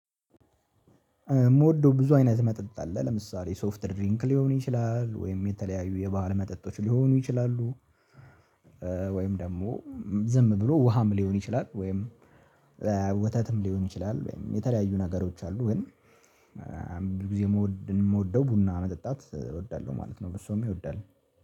የምወደው ብዙ አይነት መጠጥ አለ ለምሳሌ ሶፍትድ ድሪንክ ሊሆን ይችላል ወይም የተለያዩ የባህል መጠጦች ሊሆኑ ይችላሉ። ወይም ደግሞ ዝም ብሎ ውሃም ሊሆን ይችላል። ወይም ወተትም ሊሆን ይችላል ወይም የተለያዩ ነገሮች አሉ። ግን ብዙ ጊዜ የምወደው ቡና መጠጣት እወዳለሁ ማለት ነው። ብዙ ሰውም ይወዳል።